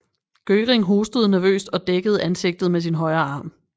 Göring hostede nervøst og dækkede ansigtet med sin højre arm